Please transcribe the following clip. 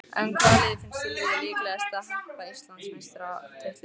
En hvaða lið finnst Silvíu líklegast til að hampa Íslandsmeistaratitlinum?